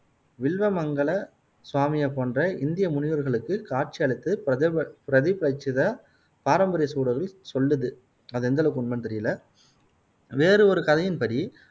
வில்வ மங்கள சுவாமியை போன்ற இந்திய முனிவர்ளுக்கு பிரதிபலிச்சதை பாரம்பரிய சொல்லுது அது எந்த அளவுக்கு உண்மைன்னு தெரியல வேறு ஒரு கதையின் படி